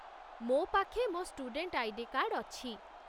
ମୋ' ପାଖେ ମୋ' ଷ୍ଟୁଡେଣ୍ଟ ଆଇ.ଡି. କାର୍ଡ଼ ଅଛି ।